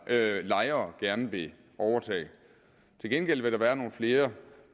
lejere gerne vil overtage til gengæld vil der være nogle flere